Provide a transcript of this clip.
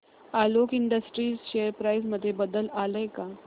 Alok industries share price मध्ये बदल आलाय का